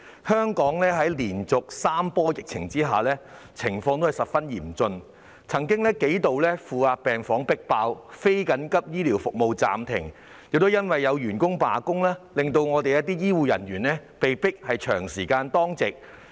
香港在連續3波疫情下，情況亦十分嚴峻，負壓病房曾幾度迫爆，非緊急醫療服務也須暫停，亦因為有員工罷工，令一些醫護人員被迫長時間當值。